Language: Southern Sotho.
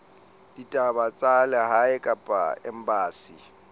ditaba tsa lehae kapa embasing